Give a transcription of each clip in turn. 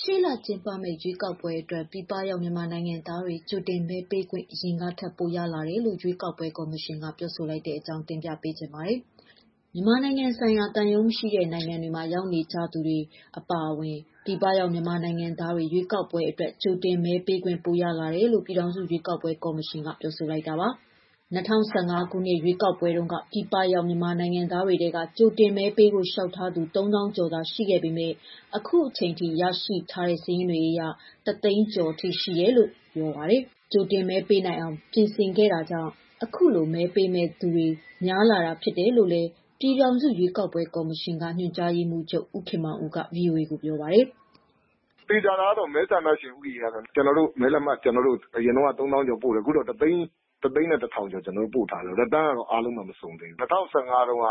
ရှေ့လကျင်းပမယ့် ရွေးကောက်ပွဲအတွက် ပြည်ပရောက် မြန်မာနိုင်ငံသားတွေ ကြိုတင်မဲပေးခွင့် အရင်ထက် ပိုရလာတယ်လို့ ရွေးကောက်ပွဲ ကော်မရှင်က ပြောဆိုလိုက်တဲ့အကြောင်း တင်ပြပါမယ်။ ဗွီအိုအေမြန်မာပိုင်း သတင်းထောက် မမေခက သတင်းပေးပို့ထားပါတယ်။ မြန်မာနိုင်ငံဆိုင်ရာ သံရုံးမရှိတဲ့ နိုင်ငံတွေမှာ ရောက်နေကြသူတွေ အပါအဝင် ပြည်ပရောက် မြန်မာနိုင်ငံသားတွေ ရွေးကောက်ပွဲအတွက် ကြိုတင်မဲပေးခွင့် ပိုရလာတယ်လို့ ပြည်ထောင်စုရွေးကောက်ပွဲ ကော်မရှင်က ပြောဆိုလိုက်တာပါ။ ၂၀၁၅ ခုနှစ် ရွေးကောက်ပွဲမှာတုန်းက ပြည်ပရောက် မြန်မာနိုင်ငံသားတွေထဲက ကြိုတင်မဲပေးဖို့ လျှောက်ထားသူ ၃၀,၀၀၀ ကျော်သာရှိခဲ့ပေမဲ့ အခုအချိန်အထိ ရရှိထားတဲ့ စာရင်းတွေအရ ၁၀၀,၀၀၀ ကျော် ရှိတယ်လို့လည်း ပြောပါတယ်။ ကြိုတင်မဲပေးနိုင်အောင် ပြင်ဆင်ခဲ့တာကြောင့် အခုလို မဲပေးမယ့်သူ များလာတာလို့လည်း ပြည်ထောင်စုရွေးကောက်ပွဲကော်မရှင်က ညွှန်ကြားရေးမှုးချုပ် ဦးခင်မောင်ဦးက ဗွီအိုအေကို ပြောပါတယ်။ "သေချာတာကတော့ မဲဆန္ဒရှင် ဦးရေကတော့ ကျနော်တို့ မဲလက်မှတ်အရင်တုန်းက ၃၀,၀၀၀ ကျော်ပို့တယ်။ အခုတော့ ကျနော်တို့ ၁၀၁,၀၀၀ ကျော် ကျနော်တို့ ပို့တယ်။ အားလုံးတော့ မစုံသေးဘူး။ ၂၀၁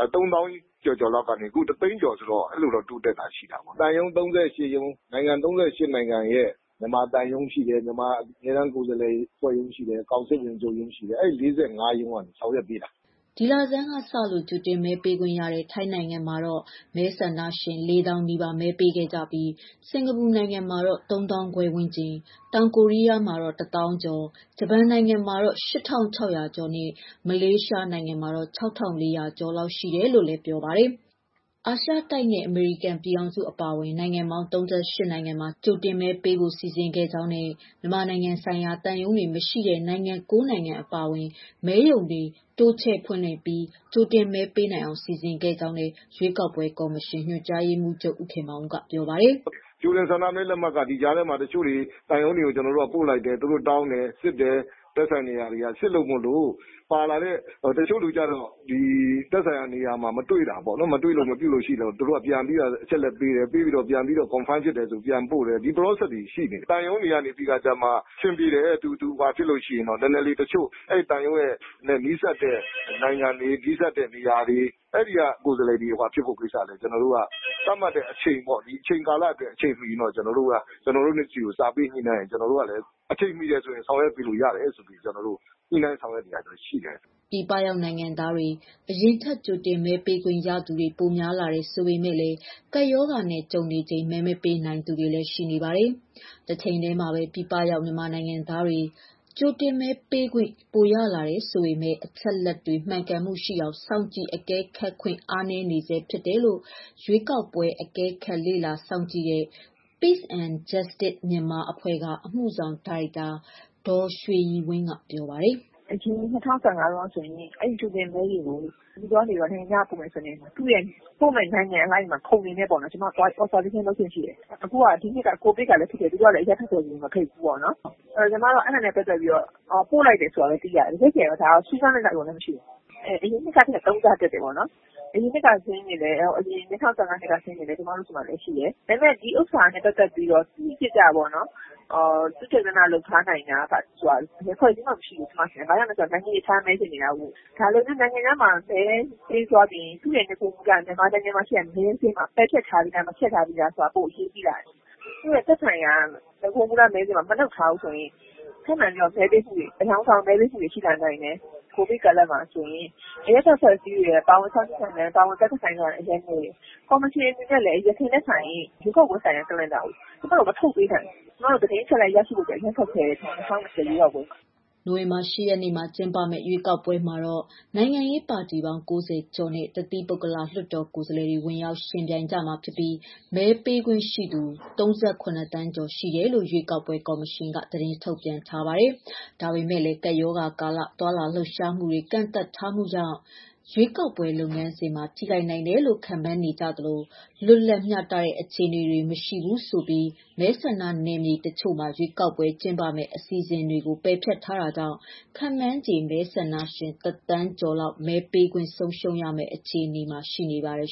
၅ တုန်းက ၃၀,၀၀၀ ကျော်ကျော်လောက်ကနေ အခု ၁၀၀,၀၀၀ ကျော်ဆိုတော့ အဲ့လိုတော့ တိုးတက်တာ ရှိတာပေါ့။ သံရုံး ၃၈ ရုံး၊ နိုင်ငံ ၃၈ နိုင်ငံရဲ့ မြန်မာသံရုံးရှိတယ်၊ မြန်မာ အမြဲတမ်းကိုယ်စားလှယ်အဖွဲ့ရုံးရှိတယ်၊ ကောင်စစ်ဝင်ချုပ်ရုံး ရှိတယ်။ အဲ့ဒီ ၄၅ ရုံးကနေ ဆောင်ရွက်ပေးတာ။" ဒီလဆန်းကစ ကြိုတင်မဲပေးခွင့်ရတဲ့ ထိုင်းနိုင်ငံမှာတော့ မဲဆန္ဒရှင် ၄၀,၀၀၀ နီးပါး မဲပေးခဲ့ကြပြီး၊ စင်္ကာပူနိုင်ငံမှာ ၃၅,၀၀၀ ဝန်းကျင်၊ တောင်ကိုရီးယားမှာ ၁၀,၀၀၀ ကျော်၊ ဂျပန်နိုင်ငံမှာတော့ ၈,၆၀၀ ကျော်နဲ့ မလေးရှားနိုင်ငံမှာတော့ ၆,၄၀၀ ကျော်လောက် ရှိတယ်လို့လည်း ပြောပါတယ်။ အာရှတိုက်နဲ့ အမေရိကန် ပြည်ထောင်စု အပါအဝင် နိုင်ငံပေါင်း ၃၈ နိုင်ငံမှာ ကြိုတင်မဲပေးဖို့ စီစဉ်ခဲ့ကြောင်းနဲ့ မြန်မာနိုင်ငံဆိုင်ရာ သံရုံးတွေ မရှိတဲ့ နိုင်ငံ ၉ နိုင်ငံ အပါအဝင် မဲရုံခွဲတွေ တိုးချဲ့ဖွင့်လှစ်ပြီး ကြိုတင်မဲပေးနိုင်အောင် စီစဉ်နိုင်ခဲ့ကြောင်းလည်း ရွေးကောက်ပွဲကော်မရှင် ညွှန်ကြားရေးမှူးချုပ် ဦးခင်မောင်ဦးကပြောပါတယ်။ "ကြိုတင်ဆန္ဒမဲလက်မှတ်က ဒီကြားထဲမှာ တချို့တွေ ကျနော်တို့က သံရုံးတွေကို ကျနော်တို့က ပို့လိုက်တယ်။ သူတို့တောင်းတယ်၊ စစ်တယ် သက်ဆိုင်ရာတွေက။ စစ်လို့မို့လို့ ပါလာတဲ့ တချို့လူတွေကျတော့ ဒီသက်ဆိုင်ရာနေရာမှာ မတွေ့တာပေါ့နော်။ မတွေ့လို့ မပြုလို့ရှိရင်တော့ သူတို့က ပြန်ပြီးတော့ အချက်အလက်ပေးတယ်၊ ပေးပြီးတော့ ပြန်ပြီးတော့ confirm ဖြစ်တယ်ဆိုရင် ပြန်ပြီးတော့ ပို့တယ်။ ဒီ process တွေ ရှိတယ်။ သံရုံးတွေကနေပြီးတော့ကျမှ တချို့နည်းနည်းလေး သံရုံးနဲ့ နီးစပ်တဲ့ နိုင်ငံတွေ၊ နီးစပ်တဲ့ နေရာတွေ အဲဒီက ကိုယ်စားလှယ်တွေက လုပ်ဆောင်ပေးဖို့ကျတော့ ကျနော်တို့က သတ်မှတ်တဲ့ အချိန်ပေါ့... ဒီအချိန်ကာလအတွက် အချိန်မီရင်တော့ ကျနော်တို့ဆီကို စာပေးညှိနှိုင်းရင် ကျနော်တို့ကလည်း အချိန်မီတယ်ဆိုရင် ဆောင်ရွက်ပေးလို့ရတယ်ဆိုပြီး ကျနော်တို့ ညှိနှိုင်းဆောင်ရွက်နေတာတော့ ရှိတယ်။" ပြည်ပရောက်နိုင်ငံသားတွေ အရင်ထက် ကြိုတင်မဲပေးခွင့်ရသူတွေ ပိုများလာတယ် ဆိုပေမဲ့လည်း ကပ်ရောဂါနဲ့ ကြုံနေရချိန်မှာ မဲမပေးနိုင်သူတွေလည်း ရှိပါတယ်။ တချိန်တည်းမှာပဲ ပြည်ပရောက် မြန်မာနိုင်ငံသားတွေ ကြိုတင်မဲပေးခွင့် ပိုရလာတယ် ဆိုပေမဲ့ အချက်အလက်တွေ မှန်ကန်မှုရှိအောင် စောင့်ကြည့်အကဲခတ်ခွင့် အားနည်းနေဆဲ ဖြစ်တယ်လို့လည်း ရွေးကောက်ပွဲအကဲခတ် Peace and Justice Myanmar အဖွဲ့က အမှုဆောင်ဒါရိုက်တာ ဒေါ်ရွှေရည်ဝင်း ကပြောပါတယ်။ "အရင် ၂၀၁၅ တုန်းကဆိုရင် အဲကြိုတင်မဲတွေကို နေပြည်တော်ကနေ နိုင်ငံခြားကို ပို့မယ်ဆိုရင် ပို့မယ့် နိုင်ငံအလိုက်ပေါ့နော်.. ကျမတို့ လေ့လာခွင့်ရတယ်။ အခုက ကိုဗစ်ကလည်း ဖြစ်တယ်၊ သူတို့ကလည်း အရပ်ဘက်တွေကို မဖိတ်ဘူးပေါ့နော်။ အဲဒါနဲ့ ပတ်သက်ပြီးတော့ ပို့လိုက်တယ်ဆိုတာပဲ သိရတယ်။ တကယ့်တကယ်တော့ ဒါကို စူးစမ်းလေ့လာခွင့် မရှိဘူး။ အရင်နှစ်ကထက် ၃ ဆ တက်တယ်ပေါ့နော်။ အရင်နှစ်က ၂၀၁၅ တုန်းက စာရင်းတွေလည်း ကျမတို့ဆီမှာလည်း ရှိတယ်။ ဒါပေမဲ့ ဒီဥစ္စာနဲ့ ပတ်သက်ပြီးတော့ တိတိကျကျပေါ့နော် သုတေသနလုပ်ထားနိုင်တဲ့ ဘယ်အဖွဲ့အစည်းမှ မရှိဘူး။ နိုင်ငံခြားမှာ မဲပေးပြီးသွားရင် သူ့ရဲ့ နဂိုမူလ မြန်မာနိုင်ငံမှာ ရှိတဲ့ မဲစာရင်းမှာ ပဲဖျက်ထားပြီးပြီလား၊ မပယ်ဖျက်ထားဘူးလားဆိုတာ ပိုအရေးကြီးပါတယ်။ သူ့ရဲ့ သက်ဆိုင်ရာ နဂို မူလမဲစာရင်းမှာ မလုပ်ထားဘူးဆိုရင် အယောင်ဆောင်မဲပေးမှုတွေ ရှိလာနိုင်တယ်။ ကိုဗစ်ကာလမှာဆိုရင် အရပ်ဘက်အဖွဲ့စည်းတွေနဲ့ ပါဝင်ဆောင်ရွက်မှုက အရမ်းနည်းတယ်။ ကော်မရှင်အနေနဲ့လည်း အရင်ထက်စာရင် ရွေးကောက်ပွဲဆိုင်ရာ calendar ကို ကျမတို့ မထုတ်ပေးနိုင်ဘူး။ ကျမတို့ သတင်းအချက်အလက် ရရှိဖို့ အရမ်းခက်ခဲတယ် ၂၀၂၀ ရွေးကောက်ပွဲက။" နိုဝင်ဘာလ ၈ ရက်နေ့မှာ ကျင်းပမယ့် ရွေးကောက်ပွဲမှာတော့ နိုင်ငံရေးပါတီပေါင်း ၉၀ ကျော်နဲ့ တသီးပုဂ္ဂလလွှတ်တော်ကိုယ်စားလှယ်တွေ ဝင်ရောက်ယှဉ်ပြိုင်ကြမှာဖြစ်ပြီး မဲပေးခွင့်ရှိသူ ၃၇ သန်းကျော် ရှိမယ်လို့လည်း ရွေးကောက်ပွဲ ကော်မရှင်က သတင်းထုတ်ပြန်ထားပါတယ်။ ဒါပေမဲ့လည်း ကပ်ရောဂါကာလ သွားလာလှုပ်ရှားမှုတွေ ကန့်သတ်ထားတာကြောင့် ရွေးကောက်ပွဲ လုပ်ငန်းစဉ်မှာ ထိခိုက်နိုင်တယ်လို့ ခန့်မှန်းနေကြသလို လွတ်လပ်မျှတတဲ့ အခြေအနေတွေ မရှိဘူးဆိုပြီး မဲဆန္ဒနနယ်မြေတချို့မှာ ရွေးကောက်ပွဲ ကျင်းပမယ့်အစီအစဉ်ကို ပယ်ဖျက်ထားတာကြောင့် ခန့်မှန်းခြေမဲဆန္ဒရှင် ၁,၀၀၀,၀၀၀ ကျော်လောက် မဲပေးခွင့် ဆုံးရှုံးရမယ့် အခြေအနေမှာ ရှိနေပါတယ်